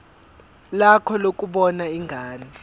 lakho lokubona ingane